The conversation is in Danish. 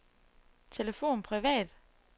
telefon privat